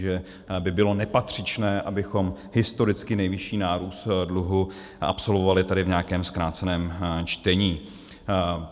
Že by bylo nepatřičné, abychom historicky nejvyšší nárůst dluhu absolvovali tady v nějakém zkráceném čtení.